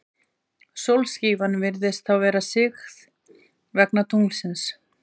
Sólskífan virðist þá vera sigð, vegna tunglsins.